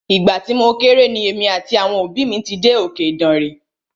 Ìgbà tí mo kéré ni èmi àti àwọn òbí mí dé òkè Ìdànre.